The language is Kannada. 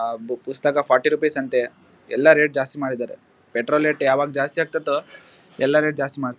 ಆ ಬುಕ್ ಪುಸ್ತಕ ಫೋರ್ಟಿ ರುಪೀಸ್ ಅಂತೆ ಎಲ್ಲಾ ರೇಟ್ ಜಾಸ್ತಿ ಮಾಡಿದರೆ ಪೆಟ್ರೋಲ್ ರೇಟ್ ಯಾವಾಗ ಜಾಸ್ತಿ ಆಗ್ತತೋ ಎಲ್ಲಾ ರೇಟ್ ಜಾಸ್ತಿ ಮಾಡಿದ್ದಾರೆ.